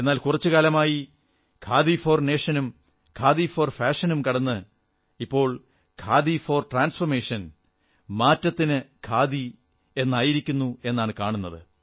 എന്നാൽ കുറച്ചു സമയമായി ഖാദി ഫോർ നേഷനും ഖാദി ഫോർ ഫാഷനും കടന്ന് ഇപ്പോൾ ഖാദി ഫോർ ട്രാൻഫോർമേഷൻ മാറ്റത്തിനു ഖാദി എന്നായിത്തീർന്നിരിക്കുന്നു